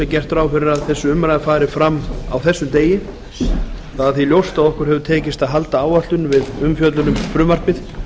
gert ráð fyrir því að þessi umræða fari fram á þessum degi það er því ljóst að okkur hefur tekist að halda áætlun við umfjöllun um frumvarpið